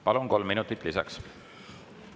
Palun, kolm minutit lisaks!